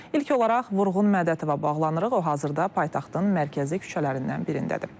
İlk olaraq Vurğun Mədətova bağlanırıq, o hazırda paytaxtın mərkəzi küçələrindən birindədir.